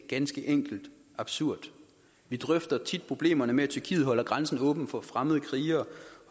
ganske enkelt absurd vi drøfter tit problemerne med at tyrkiet holder grænsen åben for fremmede krigere